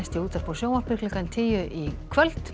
í útvarpi og sjónvarpi klukkan tíu í kvöld